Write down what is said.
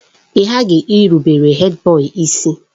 Ị ghaghị ịrụbere Hèdbọyi isi!